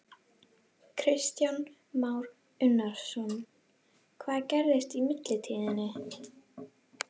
Kristján Már Unnarsson: Hvað gerðist í millitíðinni?